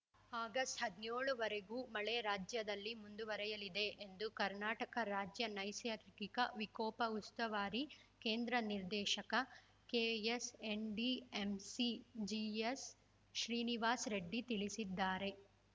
August ಹದಿನ್ಯೋಳವರೆಗೂ ಮಳೆ ರಾಜ್ಯದಲ್ಲಿ ಮುಂದುವರೆಯಲಿದೆ ಎಂದು ಕರ್ನಾಟಕ ರಾಜ್ಯ ನೈಸರ್ಗಿಕ ವಿಕೋಪ ಉಸ್ತುವಾರಿ ಕೇಂದ್ರದ ನಿರ್ದೇಶಕ ಕೆಎಸ್‌ಎನ್‌ಡಿಎಂಸಿ ಜಿಎಸ್‌ ಶ್ರೀನಿವಾಸ್‌ ರೆಡ್ಡಿ ತಿಳಿಸಿದ್ದಾರೆ